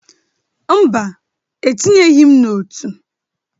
Mba, etinye gị m n'ọtú.